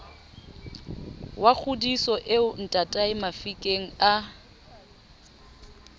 wa kgodiso eo ntataemafikeng a